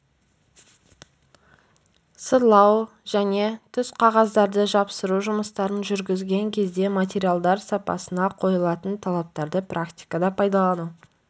сырлау және тұсқағаздарды жапсыру жұмыстарын жүргізген кезде материалдар сапасына қойылатын талаптарды практикада пайдалану